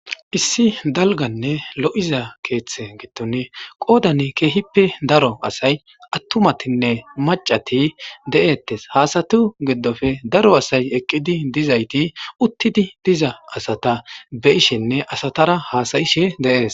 issi dalganne lo7iza keeththe giddon qoodan keehippe daro asay attumatinne macati de7eettes haasatu giddofe daro asay eqqidi dizayti uttidi diza asata bishenne asatara haasayishe deees